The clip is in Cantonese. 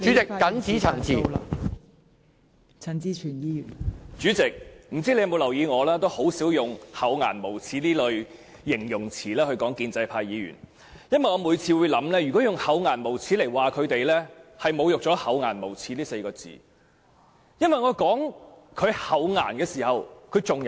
代理主席，我不知道你有否留意，我很少用"厚顏無耻"這類形容詞來形容建制派議員，因為我認為，如果用"厚顏無耻"形容他們，是侮辱了"厚顏無耻"這4個字，因為他們最少還有"顏"。